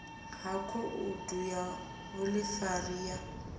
ha khoudu ya vhuḓifari ya